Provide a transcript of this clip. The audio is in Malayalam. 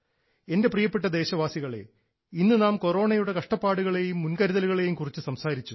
എൻറെ പ്രിയപ്പെട്ട ദേശവാസികളേ ഇന്നു നാം കൊറോണയുടെ കഷ്ടപ്പാടുകളേയും മുൻകരുതലുകളേയും കുറിച്ച് സംസാരിച്ചു